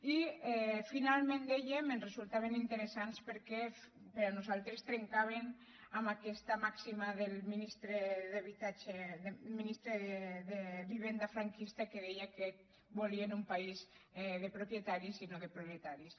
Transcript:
i finalment dèiem que ens resultaven interessants perquè per nosaltres trencaven amb aquesta màxima del ministre d’habitatge ministre de vivenda franquista que deia que volien un país de propietaris i no de proletaris